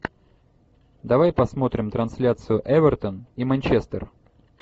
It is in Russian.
давай посмотрим трансляцию эвертон и манчестер